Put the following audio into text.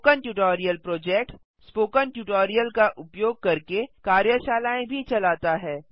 spoken tutorial project spoken tutorial का उपयोग करके कार्यशालाएँ भी चलाता है